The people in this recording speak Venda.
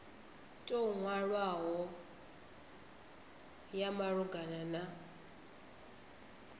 tou nwalwaho ya malugana na